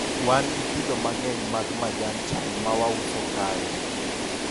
wan gi kido mang'eny mag majan chaye ma wauso kae